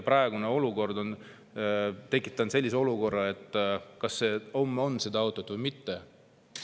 Praegune olukord on tekitanud, kas neil homme on auto või mitte.